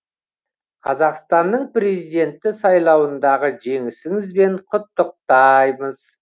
қазақстанның президенті сайлауындағы жеңісіңізбен құттықтаймыз